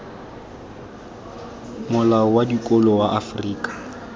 molao wa dikolo wa afrika